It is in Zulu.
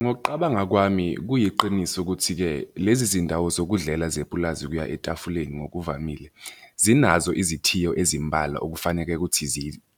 Ngokuqabanga kwami, kuyiqiniso ukuthi-ke lezi zindawo zokudlela zepulazi ukuya etafuleni ngokuvamile, zinazo izithiyo ezimbalwa okufaneke ukuthi